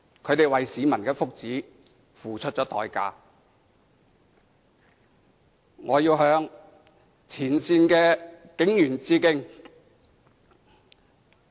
他們為市民的福祉付出代價，我要向前線警員致敬。